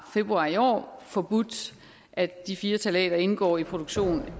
februar i år har forbudt at de fire ftalater indgår i produktion